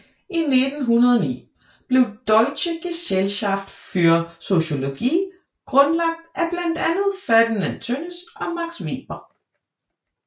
I 1909 blev Deutsche Gesellschaft für Soziologie grundlagt af blandt andre Ferdinand Tönnies og Max Weber